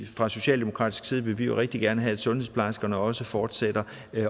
fra socialdemokratisk side vil vi jo rigtig gerne have at sundhedsplejerskerne også fortsætter